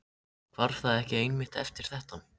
Hvarf það ekki einmitt eftir þetta?